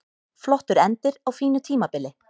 Flottur endir á fínu tímabili